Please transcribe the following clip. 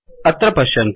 अत्र पश्यन्तु